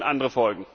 Dann können andere